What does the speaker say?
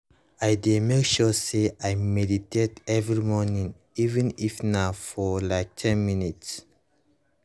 i dey make sure say i meditate every morning even if na for like ten minutes